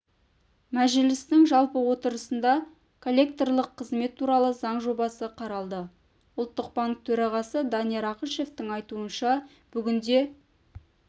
мәжілістің жалпы отырысында коллекторлық қызмет туралы заң жобасы қаралды ұлттық банк төрағасы данияр ақышевтің айтуынша бүгінде